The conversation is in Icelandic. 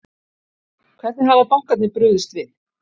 Hvernig hafa bankarnir brugðist við?